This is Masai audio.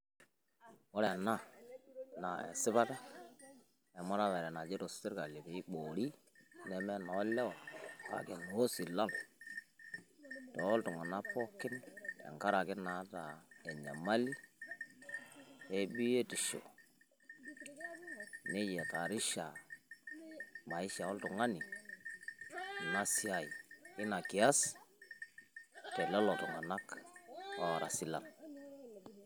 Ore ena naa esipata emuratare najito sirkali piiboori neme enoolewa kake enoosilal toltung'anak pookin tenkaraki naata enyamali ebiotisho ni hatarisha maisha oltung'ani ina siai ina kias telelo tung'anak oora silal.